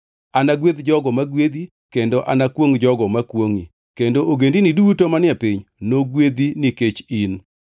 Anagwedh jogo ma gwedhi kendo anakwongʼ jogo makwongʼi, kendo ogendini duto manie piny nogwedhi nikech in.”